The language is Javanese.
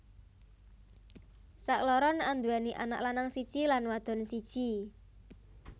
Sakloron anduwèni anak lanang siji lan wadon siji